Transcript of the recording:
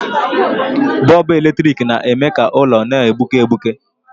Bọlbụ eletrik na-eme ka ụlọ na-egbuke egbuke.